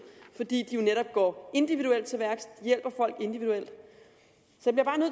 fordi de jo netop går individuelt til værks hjælper folk individuelt